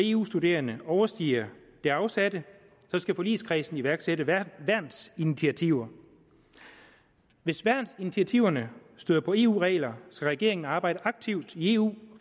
eu studerende overstiger det afsatte skal forligskredsen iværksætte værnsinitiativer hvis værnsinitiativerne støder på eu regler skal regeringen arbejde aktivt i eu